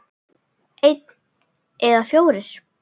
Einn eða fjórir?